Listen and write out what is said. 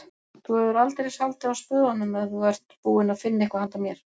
Þú hefur aldeilis haldið á spöðunum ef þú ert búinn að finna eitthvað handa mér